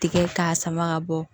Tigɛ k'a sama ka bɔ